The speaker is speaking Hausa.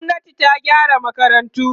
gwamnati ta gyara makarantu